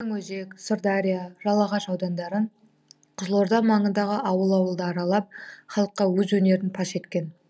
тереңөзек сырдария жалағаш аудандары қызылорда маңындағы ауыл ауылды аралап халыққа өз өнерін паш еткен